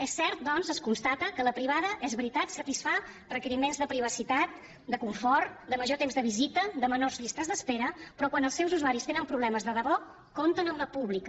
és cert doncs es constata que la privada és veritat satisfà requeriments de privacitat de confort de major temps de visita de menors llistes d’espera però quan els seus usuaris tenen problemes de debò compten amb la pública